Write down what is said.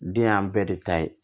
Den y'an bɛɛ de ta ye